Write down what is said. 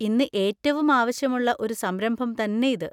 ഇന്ന് ഏറ്റവും ആവശ്യമുള്ള ഒരു സംരംഭം തന്നെ ഇത്.